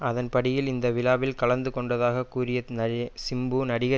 அதன்ப்படியில் இந்த விழாவில் கலந்துகொண்டதாக கூறிய சிம்பு நடிகர்